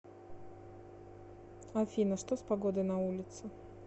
афина что с погодой на улице